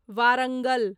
Warangal